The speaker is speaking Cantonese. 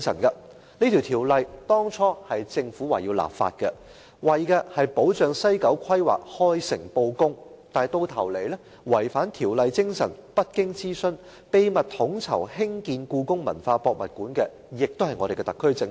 這條例當初由政府訂立，目的是保障西九規劃開誠布公，但最終違反《條例》精神，不經諮詢，秘密統籌興建故宮館的同樣是特區政府。